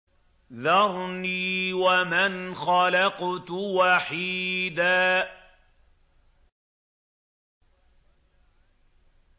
ذَرْنِي وَمَنْ خَلَقْتُ وَحِيدًا